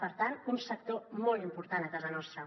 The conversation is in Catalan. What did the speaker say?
per tant un sector molt important a casa nostra